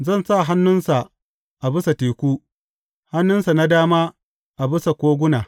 Zan sa hannunsa a bisa teku, hannunsa na dama a bisa koguna.